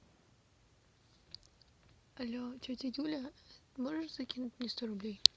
алле тетя юля можешь закинуть мне сто рублей